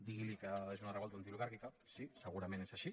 diguili que és una revolta antioligàrquica sí segurament és així